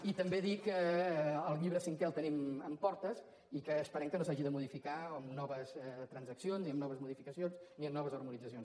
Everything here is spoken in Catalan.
i també dir que el llibre cinquè el tenim en portes i que esperem que no s’hagi de modificar amb noves transaccions ni amb noves modificacions ni amb noves harmonitzacions